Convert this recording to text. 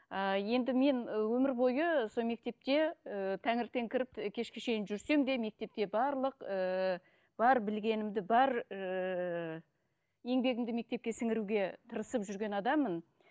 ыыы енді мен өмір бойы сол мектепте ііі таңертең кіріп і кешке шейін жүрсем де мектепке барлық ііі бар білгенімді бар ііі еңбегімді мектепке сіңіруге тырысып жүрген адаммын